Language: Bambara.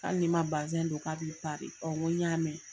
Hali ni ma bazin don k'a bi pari. N ko y'a mɛn.